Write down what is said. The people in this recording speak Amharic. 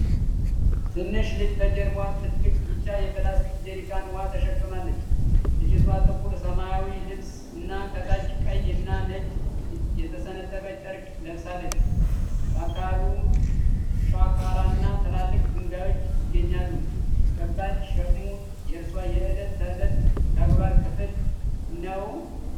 ትንሽ ልጅ በጀርባዋ ትልቅ ቢጫ የፕላስቲክ ጀሪካን ውሃ ተሸክማለች። ልጅቷ ጥቁር ሰማያዊ ልብስ እና ከታች ቀይ እና ነጭ የተሰነጠቀ ጨርቅ ለብሳለች። በአካባቢው ሻካራና ትላልቅ ድንጋዮች ይገኛሉ። ከባድ ሸክሙ የእርሷ የዕለት ተዕለት ተግባር ክፍል ነው?